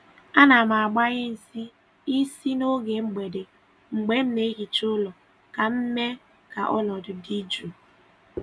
A na m gbanye nsị ísì n’oge mgbede mgbe m na-ehicha ụlọ ka m mee ka ọnọdụ dị jụụ.